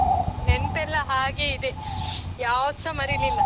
ನೆನ್ಪೆಲ್ಲ ಹಾಗೇ ಇದೆ, ಯಾವ್ದ್ಸ ಮರೀಲಿಲ್ಲ.